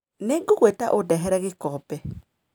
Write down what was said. Nĩngũgwĩta ũndehere gĩkombe.